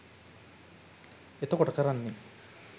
එතකොට කරන්නේ